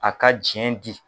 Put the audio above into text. A ka jiyɛn di.